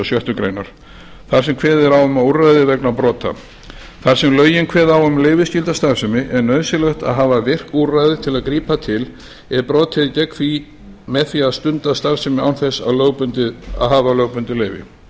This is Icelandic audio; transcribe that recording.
sjöttu grein þar sem kveðið er á um úrræði vegna brota þar sem lögin kveða á um leyfisskylda starfsemi er nauðsynlegt að hafa virk úrræði til að grípa til ef brotið er gegn því með því að stunda starfsemi án þess að hafa lögbundið leyfi